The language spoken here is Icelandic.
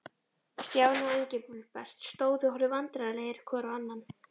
Stjáni og Engilbert stóðu og horfðu vandræðalegir hvor á annan.